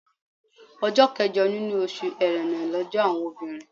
Ọjọ́ kẹjọ nínú oṣù Ẹ̀rẹnà lọ́jọ́ àwọn obìnrin.